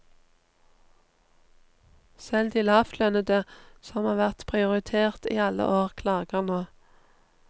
Selv de lavtlønnede, som har vært prioritert i alle år, klager nå.